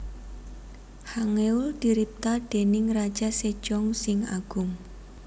Hangeul diripta déning Raja Sejong sing Agung